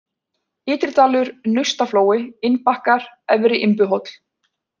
Ytridalur, Naustaflói, Innbakkar, Efri-Imbuhóll